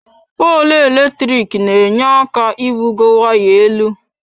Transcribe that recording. Poolụ eletrik n'enye aka ibugo waya elu.